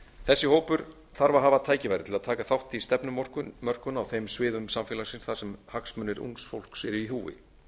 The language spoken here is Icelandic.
þessi hópur þarf að hafa tækifæri til að taka þátt í stefnumörkun á þeim sviðum samfélagsins þar sem hagsmunir ungs fólks eru í húfi